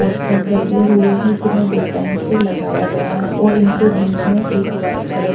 poster लगे हुए हैं जिन्हें डिजाइन से लगाया गया है और इनके बीच में एक व्हाईट कलर --